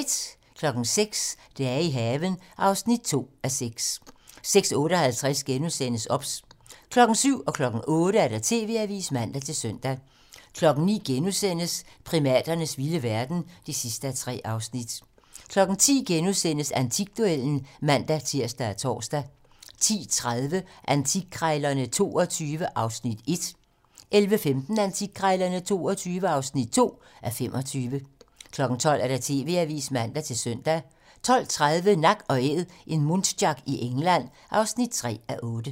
06:00: Dage i haven (2:6) 06:58: OBS * 07:00: TV-Avisen (man-søn) 08:00: TV-Avisen (man-søn) 09:00: Primaternes vilde verden (3:3)* 10:00: Antikduellen *(man-tir og tor) 10:30: Antikkrejlerne XXII (1:25) 11:15: Antikkrejlerne XXII (2:25) 12:00: TV-Avisen (man-søn) 12:30: Nak & Æd - en muntjac i England (3:8)